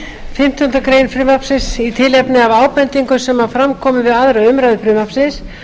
ræddi fimmtándu greinar frumvarpsins í tilefni af ábendingum sem fram komu við aðra umræðu frumvarpsins